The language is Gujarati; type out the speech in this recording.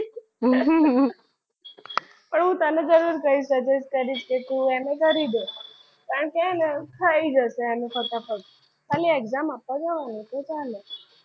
પણ હું તને જરૂર suggest કરીશ કે તું એમ એ કરી લે કારણકે છે ને થઈ જશે અને ફટાફટ. ખાલી exam આપવા જવાનું તો ચાલે.